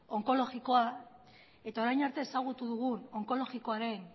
onkologikoa eta orain arte ezagutu dugun onkologikoaren